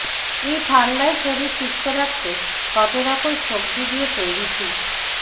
এই ঠান্ডায় শরীর সুস্থ রাখতে পাতে রাখুন সবজি দিয়ে তৈরি স্যুপ